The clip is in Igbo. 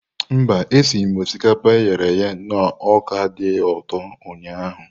Mba, esighị m osikapa e ghere eghe na ọka dị ụtọ ụnyahụ.